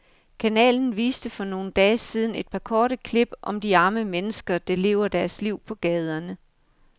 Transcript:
Kanalen viste for nogle dage siden et par korte klip om de arme mennesker, der lever deres liv på gaderne.